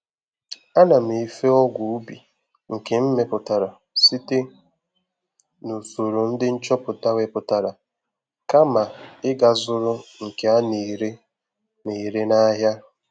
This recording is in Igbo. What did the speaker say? Ana m efe ọgwụ ubi nke m meputara site na usoro ndị nchọpụta weputara, kama ị ga zụrụ nke a na-ere na-ere n'ahịa